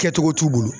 Kɛcogo t'u bolo